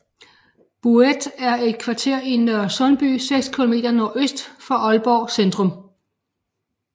Bouet er et kvarter i Nørresundby seks kilometer nordøst for Aalborg Centrum